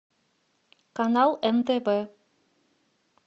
канал нтв